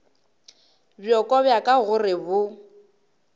bjoko bja ka gore bo